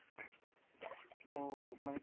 ওহ মানে